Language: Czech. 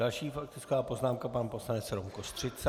Další faktická poznámka pan poslanec Rom Kostřica.